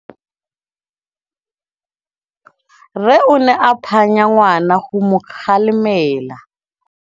Rre o ne a phanya ngwana go mo galemela.